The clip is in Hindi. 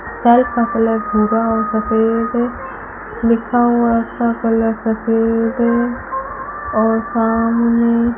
सेल्फ का कलर भूरा और सफेद लिखा हुआ उसका कलर सफेद और सामने --